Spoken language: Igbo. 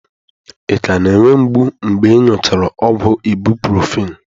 Ị ka na-enwe mgbu mgbe ị nụchara ọgwụ ibụprọfen?